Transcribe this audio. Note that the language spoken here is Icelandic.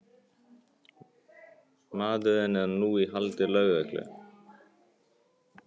Maðurinn er nú í haldi lögreglu